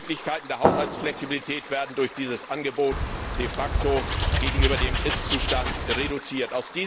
Die Möglichkeiten der Haushaltsflexibilität werden durch dieses Angebot de facto gegenüber dem Ist Zustand reduziert.